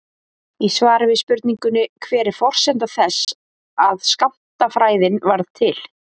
Í svari við spurningunni Hver er forsenda þess að skammtafræðin varð til?